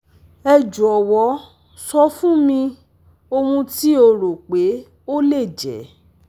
Ẹ jọwọ sọ fun mi ohun ti o ro pe o le jẹ